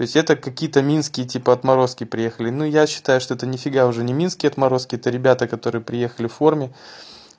то есть это какие-то минские типа отморозки приехали но я считаю что это нифига уже не минские отморозки ты ребята которые приехали в форме